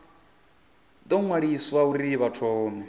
ḓo ṅwaliswa uri vha thome